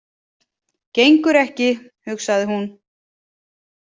Gengur ekki, hugsaði hún.